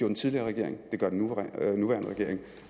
den tidligere regering det gør den nuværende regering